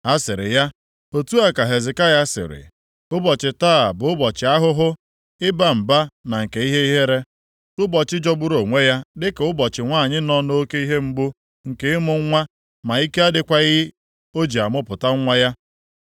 Ha sịrị ya, “Otu a ka Hezekaya sịrị, Ụbọchị taa bụ ụbọchị ahụhụ, ịba mba na nke ihe ihere. Ụbọchị jọgburu onwe ya dịka ụbọchị nwanyị nọ nʼoke ihe mgbu nke ịmụ nwa ma ike adịkwaghị o ji amụpụta nwa ya.